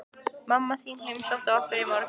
Mamma þín heimsótti okkur í morgun.